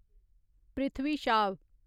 Prithvi Shaw